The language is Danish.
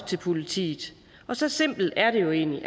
til politiet så simpelt er det jo egentlig